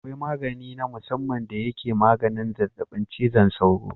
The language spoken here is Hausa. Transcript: Akwai maganin na musamman da yake maganin zazzabi cizon sauro.